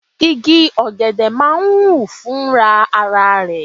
Igi ọ̀gẹ̀dẹ̀ máa ń hù fúnra ara rẹ̀.